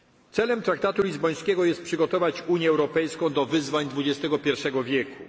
to samo. Celem traktatu lizbońskiego jest przygotować Unię Europejską do wyzwań